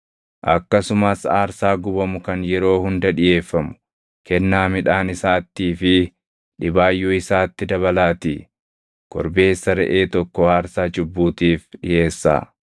Akkasumas aarsaa gubamu kan yeroo hunda dhiʼeeffamu kennaa midhaan isaattii fi dhibaayyuu isaatti dabalaatii korbeessa reʼee tokko aarsaa cubbuutiif dhiʼeessaa.